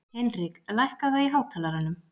Hinrik, lækkaðu í hátalaranum.